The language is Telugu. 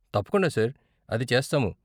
తప్పకుండా సార్, అది చేస్తాము.